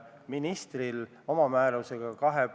Ohutus merel on väga tähtis.